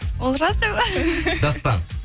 ол рас деп па дастан